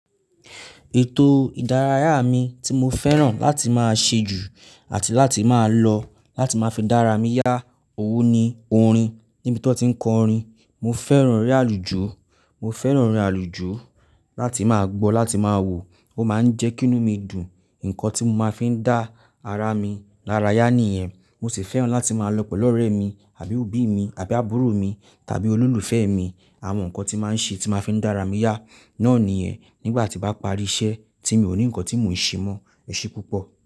Ètò ìdárayá mi tí mo fẹ́ràn láti máa ṣe jù àti láti máa lọ láti máa fi dára mí yá, òwó ni, orin níbi tó ti ń kọ orin. Mo fẹ́ràn eré àlùjó, mo fẹ́ràn orin àlùjó láti máa gbọ́, láti máa wò, ó máa ń jẹ́ kí inú mi dùn. Ǹkan tí mo máa ń fi dá ara mi laraya nìyẹn. Mo sì fẹ́ràn láti máa lọ pẹ̀lú ọ̀rẹ́ mi àbí òbí mi àbí àbúrò mi tàbí olólùfẹ́ mi. Àwọn nǹkan tí máa ń ṣe tí máa ń fi dára mí yá náà niyẹn Nígbà tí n bá parí iṣẹ́ tí mi ò ní ǹkan tí mò ń ṣe mọ́, ẹṣẹ púpọ̀.